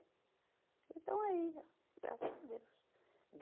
E estão aí ó, graças a Deus.